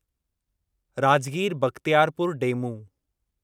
Rajgir Bakhtiyarpur DEMU